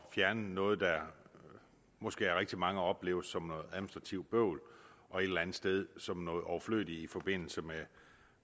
fjerne noget der måske af rigtig mange opleves som noget administrativt bøvl og et eller andet sted som noget overflødigt i forbindelse